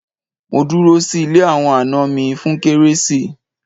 Mo dúró sí ilé àwọn àna mi fún kérésì